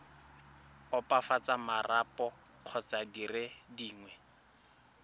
opafatsa marapo kgotsa dire dingwe